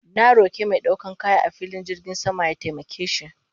Ya roke mai daukan kaya a filin jirgin sama ya taimake shi